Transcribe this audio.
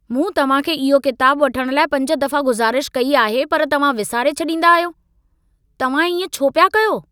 मूं तव्हां खे इहो किताबु वठण लाइ पंज दफ़ा गुज़ारिश कई आहे पर तव्हां विसारे छॾींदा आहियो। तव्हां ईअं छो पिया कयो?